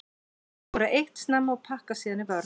Þeir skora eitt snemma og pakka síðan í vörn.